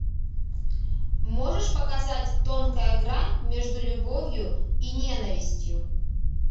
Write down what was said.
можешь показать тонкая грань между любовью и ненавистью